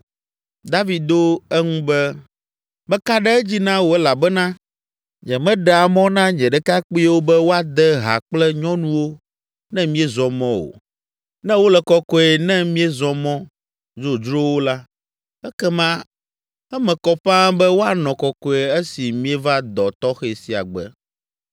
David do eŋu be, “Meka ɖe edzi na wò elabena nyemeɖea mɔ na nye ɖekakpuiwo be woade ha kple nyɔnuwo ne míezɔ mɔ o. Ne wole kɔkɔe ne míezɔ mɔ dzodzrowo la, ekema eme kɔ ƒãa be woanɔ kɔkɔe esi míeva dɔ tɔxɛ sia gbe!”